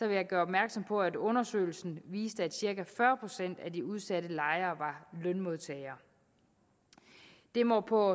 jeg gøre opmærksom på at undersøgelsen viste at cirka fyrre procent af de udsatte lejere var lønmodtagere det må på